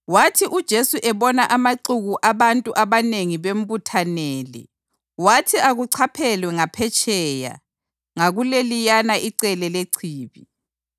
Wathi uJesu ebona amaxuku abantu abanengi bembuthanele, wathi akuchaphelwe ngaphetsheya ngakuleliyana icele lechibi.